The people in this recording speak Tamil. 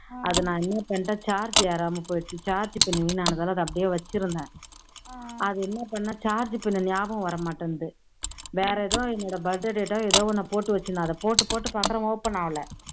அது நான் என்னபண்ணிட்டேன் charge ஏறாம போய்டுச்சு, charge pin வீணானதால அதை அப்படியே வச்சுருந்தேன் அதை என்ன பண்ணேன் ஞாபகம் வர மாட்டேன்னுது வேற என்னதோ என்னோட birthday date ஓ எதோ ஒண்ண போட்டு வச்சுருந்தேன் போட்டு போட்டு பாக்கிறேன் open ஆகல